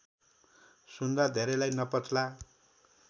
सुन्दा धेरैलाई नपच्ला